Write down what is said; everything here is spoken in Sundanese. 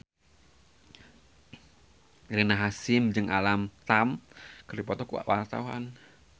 Rina Hasyim jeung Alam Tam keur dipoto ku wartawan